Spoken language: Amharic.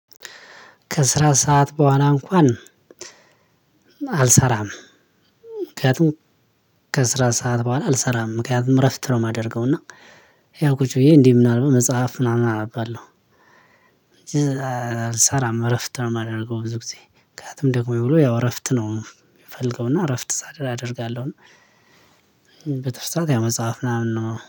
ከስራ ሰዓት በኋላ እንኳን አልሰራም። ምክንያቱም ከስራ ሰዓት በኋላ አልሰራም ምክንያቱም እረፍት ነው የማደርገው። እና ያው ቁጭ ብዬ እንዲ ምናልባት መፅሃፍ ምናምን አነባለሁ። እንጂ አልሰራም እረፍት ነው ማደርገው። ብዙ ጊዜ ምክንያቱም ደክሞኝ ወዬ ያው እረፍት ነው ምፈልገው እና እረፍት አደርጋለሁ። በትርፍ ሰዓት ያው መፅሃፍ ምናምን ነው